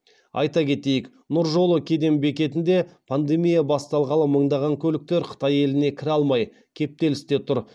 айта кетейік нұр жолы кеден бекетінде пандемия басталғалы мыңдаған көліктер қытай еліне кіре алмай кептелісте тұр